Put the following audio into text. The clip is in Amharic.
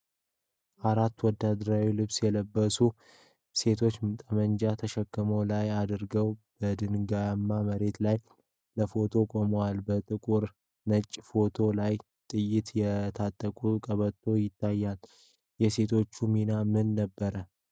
አራት ወታደራዊ ልብስ የለበሱ ሴቶች ጠመንጃ ትከሻቸው ላይ አድርገው በድንጋያማ መሬት ላይ ለፎቶ ቆመዋል። በጥቁርና ነጭ ፎቶው ላይ ጥይት የታጠቁ ቀበቶዎች ይታያሉ። የሴቶቹ ሚና ምን ነበር?